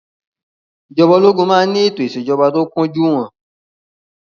Ìjọba ológun máa ń ní ètò ìṣèjọba tó kúnjú ìwọn.